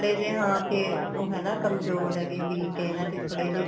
ਤੇ ਜੇ ਹਾਂ ਕੇ ਕਮਜੋਰ ਹੈਗੇ ਵੀ ਕਹਿੰਦਾ ਵੀ ਥੋੜੇ ਜੀ